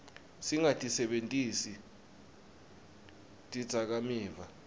singatisebentisi tidzakamiva